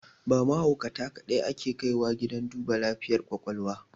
Ba mahaukata kaɗai ake kaiwa gidan duba lafiyar ƙwaƙwalwa